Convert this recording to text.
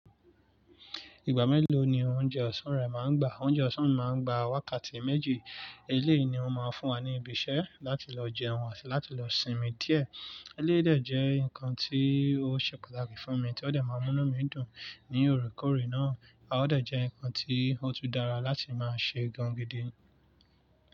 Ìgbà mélòó ni oúnjẹ ọ̀sán rẹ máa ń gbà? Oúnjẹ ọ̀sán mi máa ń gbà wákàtí méjì. Eléyìí ni wọ́n máa ń fún wa ní ibi iṣẹ́ láti lọ jẹun ati láti lọ sinmi díẹ̀. Eléyìí dẹ̀ jẹ́ nǹkan tí ó ṣe pàtàkì fún mi tí ó dẹ̀ máa ń mú mí dùn ní òrekoòrè náà, a o dẹ̀ jẹ́ nǹkan tí ó tún dára láti máa ṣe gan-an gidi.